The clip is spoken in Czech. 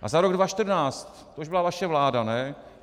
A za rok 2014, to už byla vaše vláda, ne?